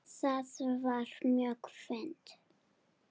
Það var mjög fínt.